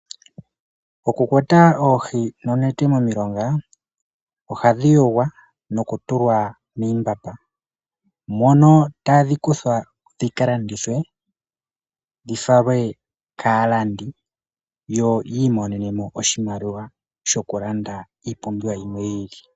Oku kwata oohi nonete momilonga ohadhi yogwa noku tulwa miimbamba mono tadhi kuthwa dhika landithwe dhi falwe kaalandi yo yi imonene mo oshimaliwa shoku landa iipumbiwa yimwe yi ili.